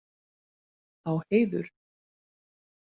Á heiður.